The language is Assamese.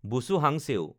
বুছু হাংছেউ